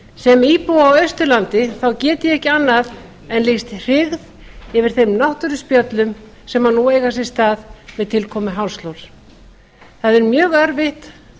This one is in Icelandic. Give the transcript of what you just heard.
sem íbúi á austurlandi get ég ekki annað en lýst hryggð yfir þeim náttúruspjöllum sem nú eiga sér stað með tilkomu hálslóns það er mjög erfitt